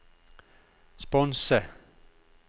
sponse